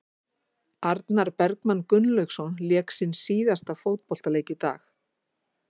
Arnar Bergmann Gunnlaugsson lék sinn síðasta fótboltaleik í dag.